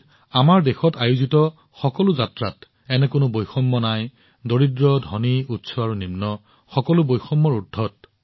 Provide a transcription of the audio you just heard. একেদৰে আমাৰ দেশত সংঘটিত হোৱা সকলো যাত্ৰাত এনে কোনো বৈষম্য নাই দৰিদ্ৰ ধনী উচ্চ আৰু নিম্ন সকলোৱে অংশগ্ৰহণ কৰে